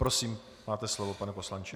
Prosím, máte slovo, pane poslanče.